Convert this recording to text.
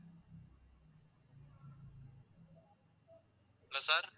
என்ன sir